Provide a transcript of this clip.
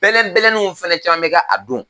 Bɛlɛbɛlɛnnnw fana caman bɛ k'a don.